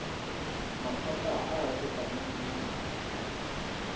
maphata a a fetang nngwe